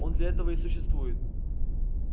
он для этого и существует